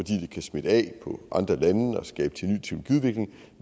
kan smitte af på andre lande og skabe